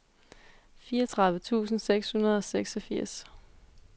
fireogtredive tusind seks hundrede og seksogfirs